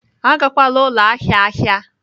Agakwala ụlọ ahịa ahịa!